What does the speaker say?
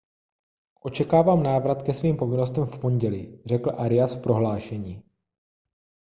očekávám návrat ke svým povinnostem v pondělí řekl arias v prohlášení